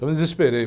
Eu me desesperei.